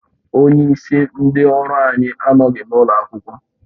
Onyeisi ndị ọrụ anyị anọghị n'ụlọ akwụkwọ